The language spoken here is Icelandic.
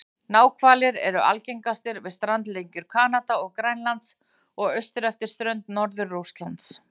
Náhvalir eru algengastir við strandlengjur Kanada og Grænlands og austur eftir strönd Norður-Rússlands.